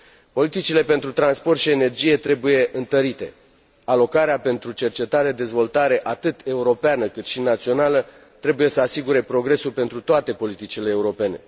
Politicile pentru transport și energie trebuie întărite. Alocarea pentru cercetare și dezvoltare, atât europeană cât și națională, trebuie să asigure progresul pentru toate politicile europene.